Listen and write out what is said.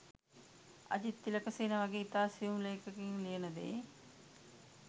අජිත් තිලකසේන වගේ ඉතා සියුම් ලේඛකයින් ලියන දේ